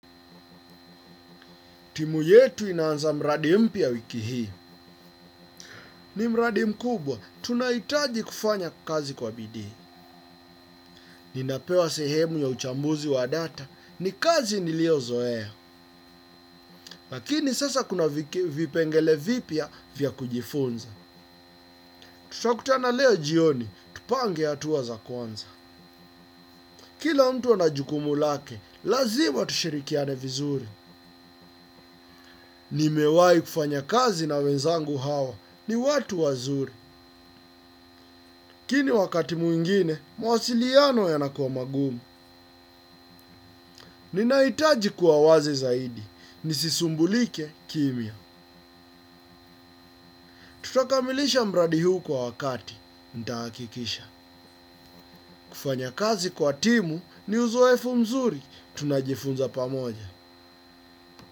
Timu yetu inaanza mradi mpya wiki hii. Ni mradi mkubwa, tunahitaji kufanya kazi kwa bidii. Ninapewa sehemu ya uchambuzi wa data, ni kazi niliyozoea. Lakini sasa kuna vipengele vipya vya kujifunza. Tutakutana leo jioni, tupange hatua za kwanza. Kila mtu ana jukumu lake, lazima tushirikiane vizuri. Nimewahi kufanya kazi na wenzangu hawa, ni watu wazuri. Lakini wakati mwingine, mawasiliano yanakuwa magumu. Ninahitaji kuwa wazi zaidi. Nisisumbulike kimya. Tutakamilisha mradi huu kwa wakati. Nitahakikisha. Kufanya kazi kwa timu ni uzoefu mzuri. Tunajifunza pamoja.